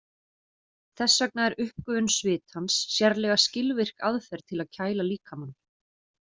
Þess vegna er uppgufun svitans sérlega skilvirk aðferð til að kæla líkamann.